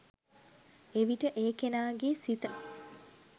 එවිට ඒ කෙනාගේ සිත